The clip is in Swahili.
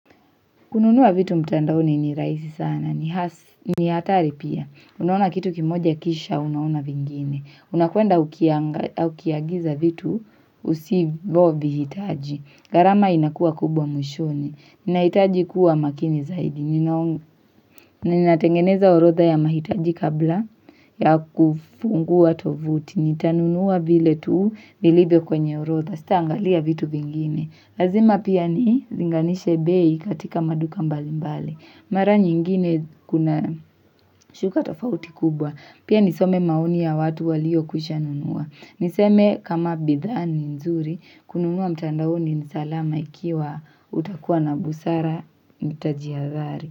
Kununuwa vitu mtandaoni ni rahisi sana ni hasi. Ni hatari pia. Unaona kitu kimoja kisha, unaona vingine. Unakwenda ukianga au ukiagiza vitu, usivovihitaji. Gharama inakuwa kubwa mwishoni. Nahitaji kuwa makini zaidi ninao. Ninatengeneza orodha ya mahitaji kabla ya kufungua tovuti. Nitanunua vile tu vilivyo kwenye orodha. Sitaangalia vitu vingine. Lazima pia nilinganishe bei katika maduka mbalimbali. Mara nyingine kuna shuka tofauti kubwa. Pia nisome maoni ya watu waliokwisha nunua. Niseme kama bidhaa ni nzuri, kununua mtandaoni ni salama ikiwa utakuwa na busara mtajihadhari.